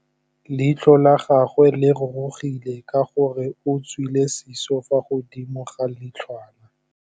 Leitlhô la gagwe le rurugile ka gore o tswile sisô fa godimo ga leitlhwana.